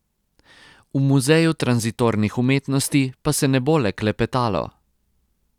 V muzeju tranzitornih umetnosti pa se ne bo le klepetalo.